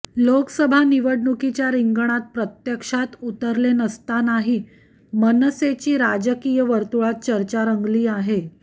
लोकसभा निवडणूकीच्या रिंगणात प्रत्यक्षात उतरले नसतानाही मनसेची राजकीय वर्तुळात चर्चा रंगली आहे